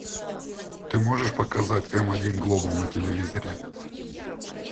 ты можешь показать м один глобал на телевизоре